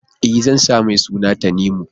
E, zan sa mai suna Tanimu.